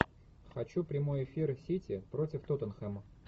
хочу прямой эфир сити против тоттенхэма